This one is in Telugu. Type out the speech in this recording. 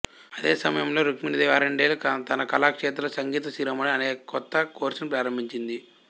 అదే సమయంలో రుక్మిణీదేవి అరండేల్ తన కళాక్షేత్రలో సంగీత శిరోమణి అనే కొత్త కోర్సును ప్రారంభించింది